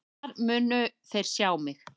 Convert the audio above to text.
Þar munu þeir sjá mig.